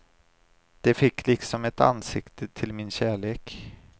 De fick liksom ett ansikte till min kärlek.